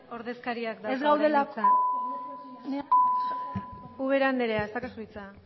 ordezkariak dauka orain hitza ubera andrea ez daukazu hitza